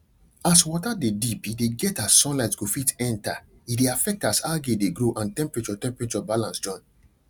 as water de deep e de get as sunlight go fit enter e de affect as algae de grow and temperarture temperarture balance join